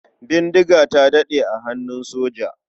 Bindiga ta daɗe a hannun soja.